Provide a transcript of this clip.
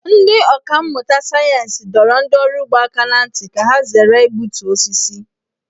Ndị ọkà mmụta sayensị dọrọ ndị ọrụ ugbo aka ná ntị ka ha zere igbutu osisi.